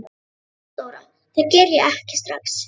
THEODÓRA: Það geri ég ekki strax.